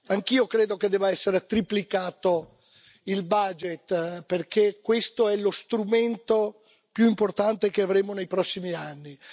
Anch'io credo che debba essere triplicato il budget, perché questo è lo strumento più importante che avremo nei prossimi anni.